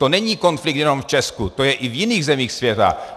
To není konflikt jenom v Česku, to je i v jiných zemích světa.